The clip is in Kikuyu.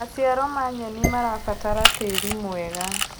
Macĩaro ma nyenĩ marabatara tĩĩrĩ mwega